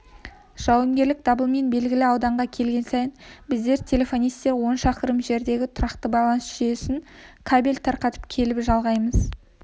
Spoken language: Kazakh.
жауынгерлік дабылмен белгілі ауданға келген сайын біздер телефонистер он шақырым жердегі тұрақты байланыс жүйесіне кабель тарқатып келіп жалғаймыз